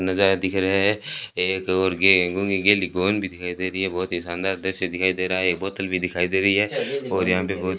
नजारा दिख रहा है एक और भी दिखाई दे रही है बहोत ही शानदार दृश्य दिखाई दे रहा है एक बोतल भी दिखाई दे रही है और यहां पे बहुत --